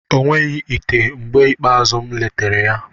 O nweghị ite mgbe ikpeazụ m letara ya.